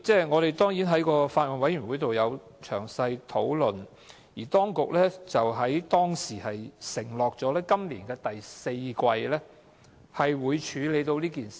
我們曾在小組委員會詳細討論此事，當局當時承諾會在今年第四季會處理。